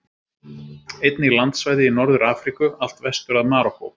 Einnig landsvæði í Norður-Afríku, allt vestur að Marokkó.